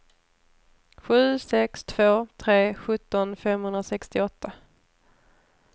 sju sex två tre sjutton femhundrasextioåtta